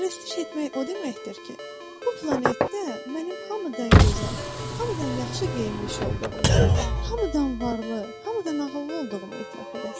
Pərəstiş etmək o deməkdir ki, bu planetdə mənim hamıdan gözəl, hamıdan yaxşı geyinmiş olduğumu, hamıdan varlı, hamıdan ağıllı olduğumu etiraf edəsən.